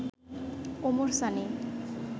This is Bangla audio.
ওমর সানী